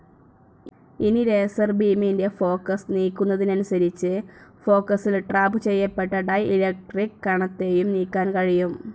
ഇനി, ലേസർ ബീമിന്റെ ഫോക്കസ്‌ നീക്കുന്നതനുസരിച്ച്, ഫോക്കസിൽ ട്രാപ്പ്‌ ചെയ്യപ്പെട്ട ഡയലക്ട്രിക്‌ കണത്തെയും നീക്കാൻ കഴിയും.